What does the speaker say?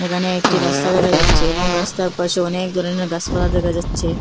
এখানে একটি রাস্তা দেখা যাচ্ছে এবং রাস্তার পাশে অনেক ধরনের গাসপালা দেখা যাচ্ছে।